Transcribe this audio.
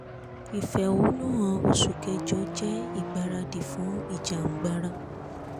ìfẹ̀hónú han oṣù kẹjọ jẹ́ ìgbáradì fún ìjà-ń-gbara